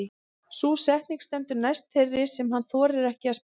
Sú setning stendur næst þeirri sem hann þorir ekki að spyrja.